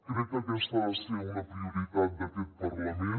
crec que aquesta ha de ser una prioritat d’aquest parlament